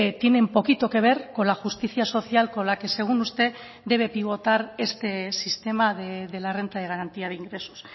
tienen poquito que ver con la justicia social con la que según usted debe pivotar este sistema de la renta de garantía de ingresos